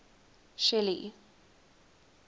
shelly